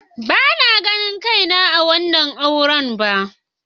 Bana ganin kaina a wannan auren ba.